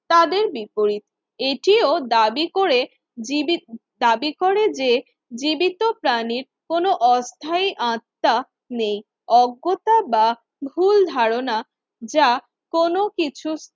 তাদের বিপরীত। এটিও দাবি করে জিবি দাবি করে যে জীবিত প্রাণীর কোন অস্থায়ী আত্মা নেই। অজ্ঞতা বা ভুল ধারণা যা কোন কিছু